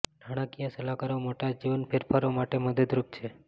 નાણાકીય સલાહકારો મોટા જીવન ફેરફારો માટે મદદરૂપ છે